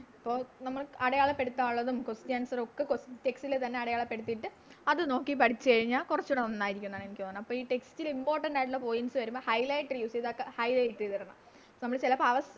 ഇപ്പൊ നമ്മള് അടയാളപ്പെടുത്താനുള്ളതും Question answer ഒക്കെ Text ല് തന്നെ അടയാളപ്പെടുത്തിട്ട് അത് നോക്കി പഠിച്ച് കഴിഞ്ഞ കൊറച്ചൂടെ നന്നായിരിക്കുംന്നാണ് എനിക്ക് തോന്നുന്നേ അപ്പൊ ഈ Text ല് Important ആയിട്ടുള്ള Points വരുമ്പോൾ Highlight ചെയ്ത Highlight ചെയ്തിടണം നമ്മള് ചെലപ്പോ